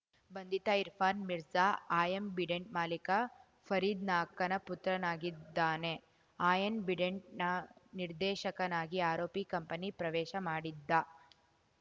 ಬಂಧಿತ ಇರ್ಫಾನ್‌ ಮಿರ್ಜಾ ಆ್ಯಂಬಿಡೆಂಟ್‌ ಮಾಲೀಕ ಫರೀದ್‌ನ ಅಕ್ಕನ ಪುತ್ರನಾಗಿದ್ದಾನೆ ಆ್ಯಂಬಿಡೆಂಟ್‌ನ ನಿರ್ದೇಶಕನಾಗಿ ಆರೋಪಿ ಕಂಪನಿ ಪ್ರವೇಶ ಮಾಡಿದ್ದ